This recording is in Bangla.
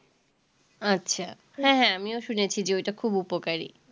আচ্ছা হ্যাঁ হ্যাঁ আমিও শুনেছি যে ওইটা খুব উপকারী